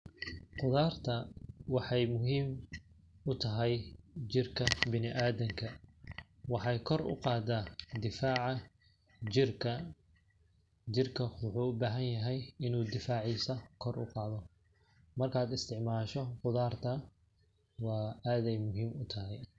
Qudaarta waxeey muhiim u tahay jirka bini adamka ,waxeey kor u qadaa difaaca jirka, jirka waxuu u baahan yahay inuu difaacisa kor u qaado ,markaad isticmaasho qudaarta aad beey muhiim u tahay .